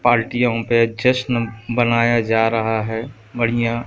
पार्टीयों पे जश्न बनाया जा रहा है बढ़िया--